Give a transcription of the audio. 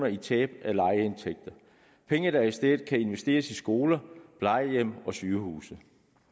i tab af lejeindtægter penge der i stedet kan investeres i skoler plejehjem og sygehuse